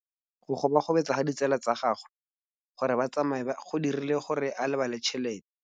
Go gobagobetsa ga ditsala tsa gagwe, gore ba tsamaye go dirile gore a lebale tšhelete.